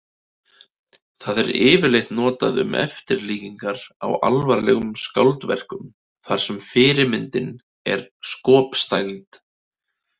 Það er yfirleitt notað um eftirlíkingar á alvarlegum skáldverkum þar sem fyrirmyndin er skopstæld.